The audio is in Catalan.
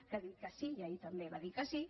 que ha dit que sí i ahir també va dir que sí